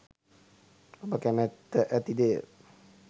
ඔබ කැමැත්ත ඇති දේය.